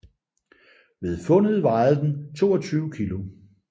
Ved fundet vejede den 22 kilo